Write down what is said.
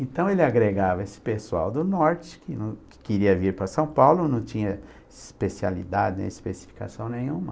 Então, ele agregava esse pessoal do norte, que que queria vir para São Paulo, não tinha especialidade, nem especificação nenhuma.